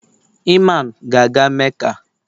Iman ga aga Meca